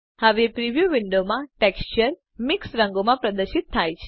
હવે પ્રિવ્યુ વિંડોમાં ટેક્સચર મિશ્ર રંગોમાં પ્રદર્શિત થાય છે